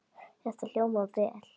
Þetta hljómar vel.